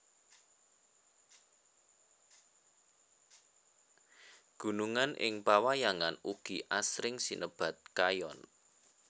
Gunungan ing pawayangan ugi asring sinebat Kayon